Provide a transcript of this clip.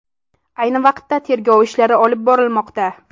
Ayni vaqtda tergov ishlari olib borilmoqda.